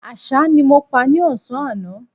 Àṣá ni mo pa ní ọ̀sán àná